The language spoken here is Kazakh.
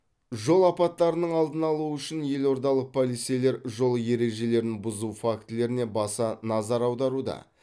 жол апаттарының алдын алу үшін елордалық полицейлер жол ережелерін бұзу фактілеріне баса назар аударуда